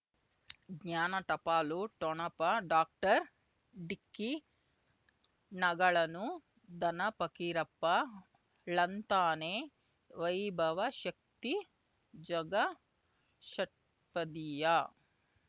ಜ್ಞಾನ ಟಪಾಲು ಠೊಣಪ ಡಾಕ್ಟರ್ ಢಿಕ್ಕಿ ಣಗಳನು ಧನ ಫಕೀರಪ್ಪ ಳಂತಾನೆ ವೈಭವ ಶಕ್ತಿ ಝಗಾ ಷಟ್ಪದಿಯ